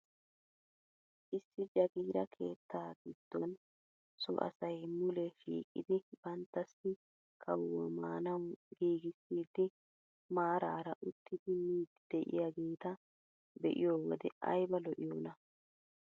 Issi Jagiira keettaa giddon so asay mulee shiiqidi banttasi kawuwaa maanawu giigissidi maarara uttidi miidi de'iyaageta be'iyoo wode ayba lo"iyoonaa!